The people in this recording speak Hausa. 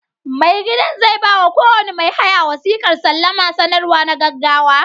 Mai gidan zai ba wa kowane mai haya wasiƙar salama sanarwa na gaggawa.